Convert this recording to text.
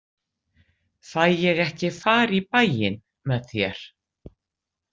Fæ ég ekki far í bæinn með þér?